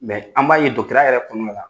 an b'a ye yɛrɛ kɔnɔna la